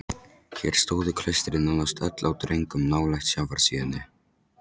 Hér stóðu klaustrin nánast öll á dröngum nálægt sjávarsíðunni